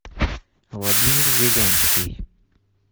владимир зеленский